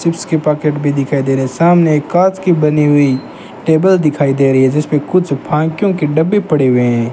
Chips के pocket भी दिखाई दे रहे हैं सामने एक कांच की बनी हुई टेबल दिखाई दे रही है जिसपे कुछ फांकियों के डब्बे पड़े हुए हैं।